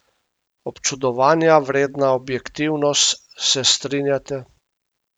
Občudovanja vredna objektivnost, se strinjate?